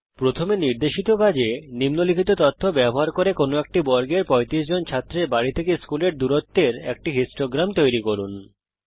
প্রথমে নির্দেশিত কাজে নিম্নলিখিত তথ্য ব্যবহার করে কোনো এক বর্গের 35 জন ছাত্রের বাড়ি থেকে স্কুলের দূরত্বের একটি বারলেখ তৈরি করুন